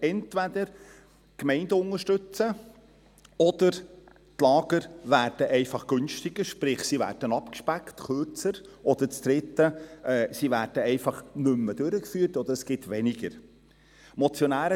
Entweder die Gemeinden unterstützen sie, oder die Lager werden einfach günstiger, sprich sie werden abgespeckt, kürzer; oder das Dritte, sie werden einfach nicht mehr durchgeführt, oder es gibt weniger davon.